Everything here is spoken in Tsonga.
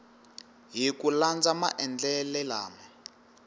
hi ku landza maendlele lama